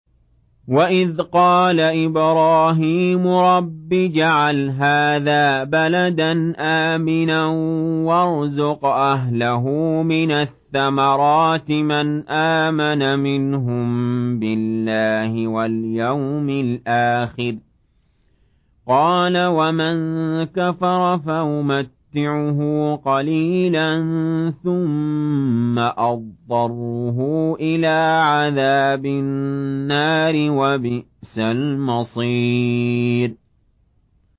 وَإِذْ قَالَ إِبْرَاهِيمُ رَبِّ اجْعَلْ هَٰذَا بَلَدًا آمِنًا وَارْزُقْ أَهْلَهُ مِنَ الثَّمَرَاتِ مَنْ آمَنَ مِنْهُم بِاللَّهِ وَالْيَوْمِ الْآخِرِ ۖ قَالَ وَمَن كَفَرَ فَأُمَتِّعُهُ قَلِيلًا ثُمَّ أَضْطَرُّهُ إِلَىٰ عَذَابِ النَّارِ ۖ وَبِئْسَ الْمَصِيرُ